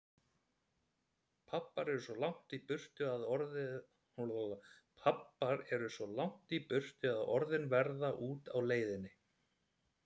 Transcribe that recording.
Pabbar eru svo langt í burtu að orðin verða úti á leiðinni.